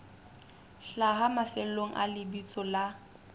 hlaha mafelong a lebitso la